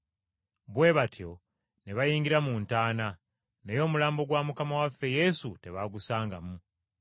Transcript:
Bwe batyo ne bayingira mu ntaana, naye omulambo gwa Mukama waffe Yesu tebaagusangamu.